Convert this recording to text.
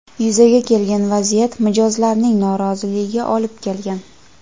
Yuzaga kelgan vaziyat mijozlarning noroziligiga olib kelgan.